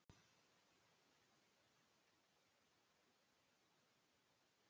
Við höfðum ekki hugmynd um hvar hann ól manninn.